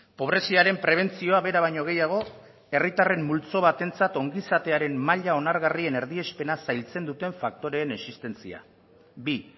pobreziaren prebentzioa bera baino gehiago herritarren multzo batentzat ongizatearen maila onargarrien erdiespena zailtzen duten faktoreen existentzia bi